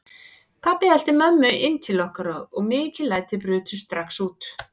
Pabbi elti mömmu inn til okkar og mikil læti brutust strax út.